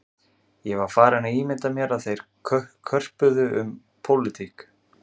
Ég var farinn að ímynda mér að þeir körpuðu um pólitík